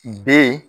B